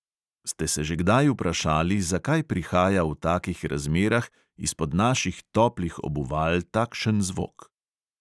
Ste se že kdaj vprašali, zakaj prihaja v takih razmerah izpod naših toplih obuval takšen zvok?